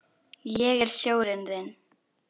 Ég er sjórinn þinn.